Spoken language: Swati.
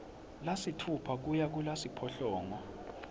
lasitfupha kuya kulasiphohlongo